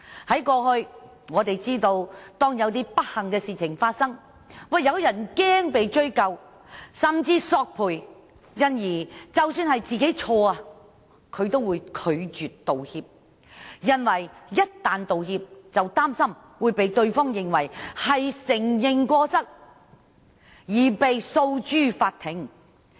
大家也知道，當過去發生一些不幸事情，有些人因擔心會被追究，甚至索償，所以即使是自己犯錯，也會拒絕道歉，因為擔心一旦道歉，便會被對方視為是承認過失，繼而訴諸法庭。